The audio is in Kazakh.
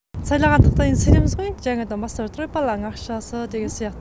сайлағандықтан енді сайлаймыз ғой жаңадан бастап жатыр ғой баланың ақшасы деген сияқты